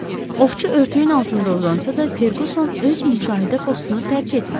Ovçu örtüyün altında uzansa da Ferquson öz müşahidə postunu tərk etmədi.